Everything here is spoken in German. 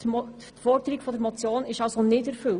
Die Forderung der Motion ist also nicht erfüllt.